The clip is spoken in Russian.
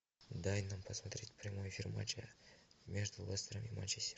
дай нам посмотреть прямой эфир матча между лестером и манчестером